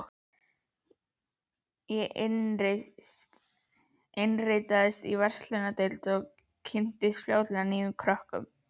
Ég innritaðist í verslunardeild og kynntist fljótlega nýjum krökkum.